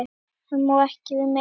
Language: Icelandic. Hann má ekki við meiru.